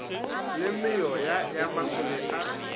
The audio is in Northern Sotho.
la meoya ya masole a